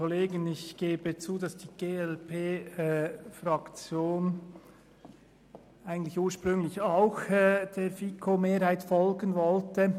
Ich gebe zu, dass die glp-Fraktion ursprünglich auch der FiKo-Mehrheit folgen wollte.